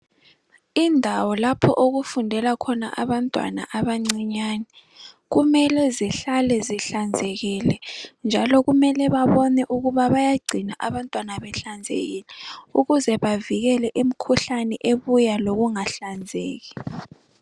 Indawo lapho okufundela khona abantwana abancinyane, kumele zihlale zihlanzekile njalo kumele babone ukuthi bayagcina abantwana behlanzekile ukuze bavikele imikhuhlane ebuya lokungahlanzeki.